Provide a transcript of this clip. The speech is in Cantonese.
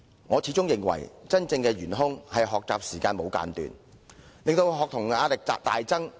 我始終認為真正的元兇，是無間斷的學習時間，令學童的壓力大增。